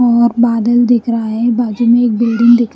और बादल दिख रहा है बाजू में एक बिल्डिंग दिख--